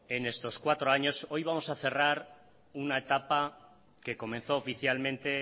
en estos cuatro años hoy vamos a cerrar una etapa que comenzó oficialmente